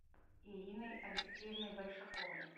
ириной алексеевной большаковой